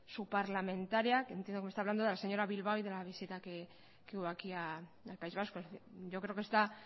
su parlamentaria entiendo que me está hablando de la señora bilbao y de la visita que hubo aquí en el país vasco yo creo que está